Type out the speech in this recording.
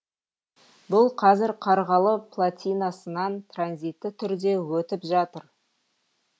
бұл қазір қарғалы платинасынан транзитті түрде өтіп жатыр